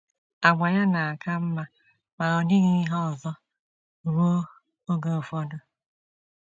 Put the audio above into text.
Àgwà ya na - aka mma ma ọ dịghị ihe ọzọ ruo oge ụfọdụ.